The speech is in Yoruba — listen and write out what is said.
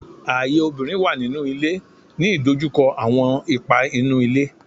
Aye obinrin wa ninu ile,” ni idojukọ awọn ipa inu ile